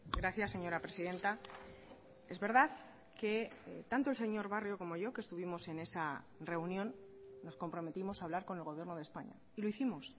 gracias señora presidenta es verdad que tanto el señor barrio como yo que estuvimos en esa reunión nos comprometimos a hablar con el gobierno de españa y lo hicimos